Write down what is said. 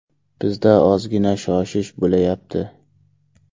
Bizda ozgina shoshish bo‘layapti.